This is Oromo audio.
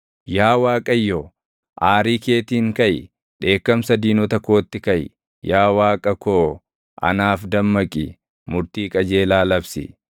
Yaa Waaqayyo aarii keetiin kaʼi; dheekkamsa diinota kootti kaʼi. Yaa Waaqa koo anaaf dammaqi; murtii qajeelaa labsi.